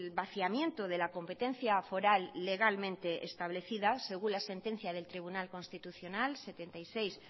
vaciamiento de la competencia foral legalmente establecida según la sentencia del tribunal constitucional setenta y seis